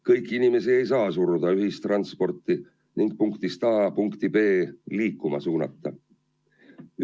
Kõiki inimesi ei saa suruda ühistransporti ning suunata sel moel punktist A punkti B liikuma.